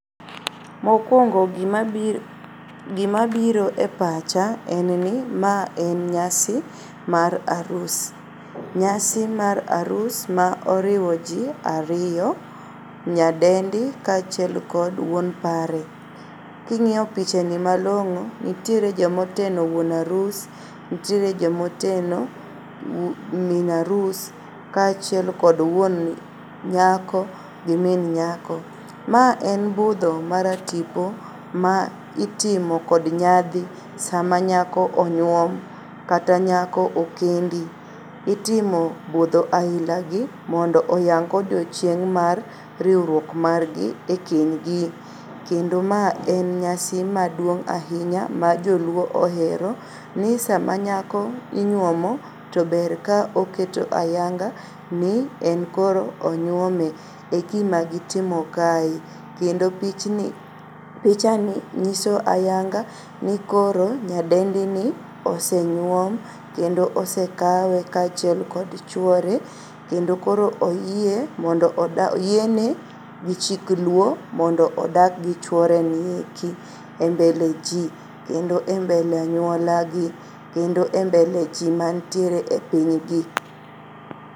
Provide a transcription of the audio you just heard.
Mokuongo gima biro e pacha en ni ma en nyasi mar arus. Nyasi mar arus ma oriwo jii ariyo, nyadendi kachiel kod wuon pare. King'iyo pichani malong'o nitiere jomoteno wuon harus, ntiere jomoteno min arus kachiel kod wuon nyako gi min nyako. Ma en budho maratipo maitimo kod nyadhi sama nyako onyuom kata nyako okendi. Itimo budho ailagi mondo oyangi odiochieng' mar riuruok margi e kenygi kendo ma en nyasi maduong' ainya ma joluo ohero ni sama nyako inyuomo tober kaoketo ayanga ni en koro onyuome e gima gitimo kae kendo pichni ,pichani nyiso ayanga ni koro nyadendini osenyuom kendo osekawe kachiel kod chuore kendo koro oyie mondo oda, oyiene gi chik luo mondo odag gi chuorenieki e mbele jii kendo e mbele anyulagi kendo e mbele jii mantiere e pinygi.